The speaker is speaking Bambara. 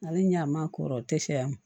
Ale ɲ'a ma kɔrɔ tɛ sa a ma